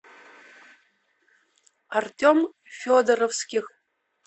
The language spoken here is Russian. артем федоровских